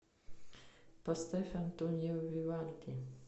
поставь антонио вивальди